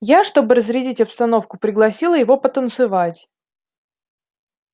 я чтобы разрядить обстановку пригласила его потанцевать